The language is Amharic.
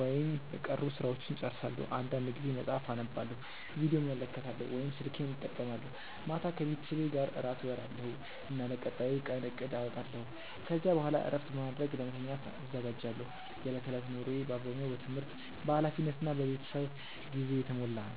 ወይም የቀሩ ሥራዎችን እጨርሳለሁ። አንዳንድ ጊዜ መጽሐፍ አነባለሁ፣ ቪዲዮ እመለከታለሁ ወይም ስልኬን እጠቀማለሁ። ማታ ከቤተሰቤ ጋር እራት እበላለሁ እና ለቀጣዩ ቀን እቅድ አወጣለሁ። ከዚያ በኋላ እረፍት በማድረግ ለመተኛት እዘጋጃለሁ። የዕለት ተዕለት ኑሮዬ በአብዛኛው በትምህርት፣ በኃላፊነት እና በቤተሰብ ጊዜ የተሞላ ነው።